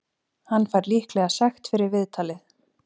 Hann fær líklega sekt fyrir viðtalið.